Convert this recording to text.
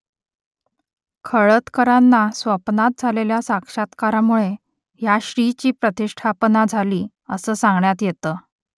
खळदकरांना स्वप्नात झालेल्या साक्षात्कारामुळे या श्रीची प्रतिष्ठापना झाली असं सांगण्यात येतं